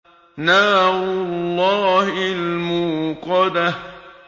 نَارُ اللَّهِ الْمُوقَدَةُ